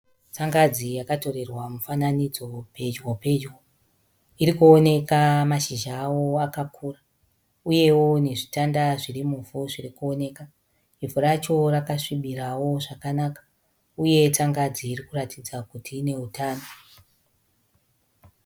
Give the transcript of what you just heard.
Tsangadzi yakatorerwa mufananidzo pedyo pedyo. Irikuoneka mashizha awo akakura, uyewo nezvitanda zvirimuvhu zvirikuoneka ivhu racho rakasvibirawo zvakanaka. Uye tsangadzi irikuratidza kuti ine utano.